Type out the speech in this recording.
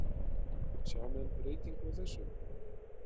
Sjá menn breytingu á þessu?